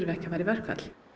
ekki að fara í verkfall